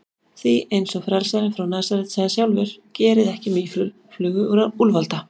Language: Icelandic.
Því, eins og frelsarinn frá Nasaret sagði sjálfur: Gerið ekki mýflugu úr úlfalda.